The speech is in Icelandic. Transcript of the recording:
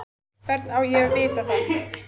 Hvernig á ég að vita það?